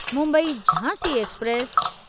Mumbai Jhansi express